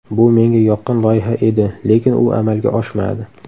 Bu menga yoqqan loyiha edi, lekin u amalga oshmadi.